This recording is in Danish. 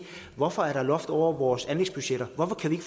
hvorfor er der loft over vores anlægsbudgetter hvorfor kan